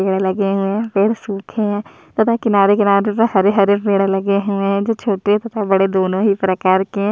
पेड़ लगे हुए है पेड़ सूखे है तथा किनारे - किनारे हरे - हरे पेड़ लगे हुए हैं जो छोटे तथा बड़े दोनों ही प्रकार के --